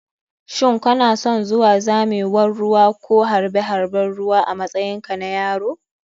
Shin kanason zuwa zamewan ruwa ko harɓe harɓen ruwa a matsayin ka na yaro?